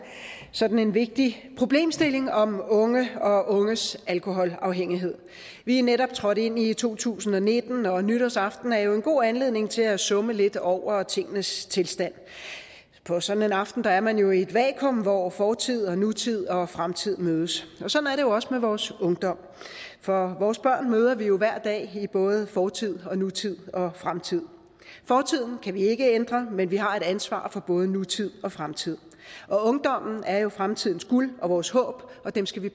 sådan en vigtig problemstilling om unge og unges alkoholafhængighed vi er netop trådt ind i to tusind og nitten og nytårsaften er jo en god anledning til at summe lidt over tingenes tilstand på sådan en aften er man jo i et vakuum hvor fortid nutid og fremtid mødes og jo også med vores ungdom for vores børn møder vi jo hver dag i både fortid nutid og fremtid fortiden kan vi ikke ændre men vi har et ansvar for både nutid og fremtid og ungdommen er jo fremtidens guld og vores håb og dem skal vi